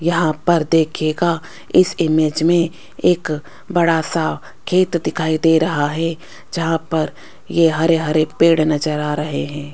यहां पर देखियेगा इस इमेज मे एक बड़ा सा खेत दिखाई दे रहा है जहां पर ये हरे हरे पेड़ नज़र आ रहे है।